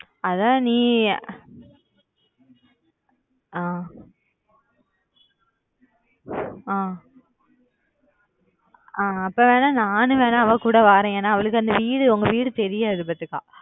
அதான் நீ ஆஹ் ஆஹ் ஆஹ் அப்பொவேணா நானும் வேணா அவகூட வாறன் ஏன்னா அவளுக்கு அந்த வீடு உங்க வீடு தெரியாது